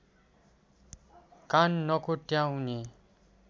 कान नकोट्याउने